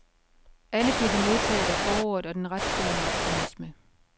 Alle bliver de modtaget af foråret og den rettroende optimisme.